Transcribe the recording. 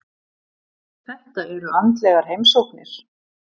Þetta eru andlegar heimsóknir.